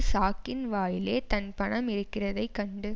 சாக்கின் வாயிலே தன் பணம் இருக்கிறதைக் கண்டு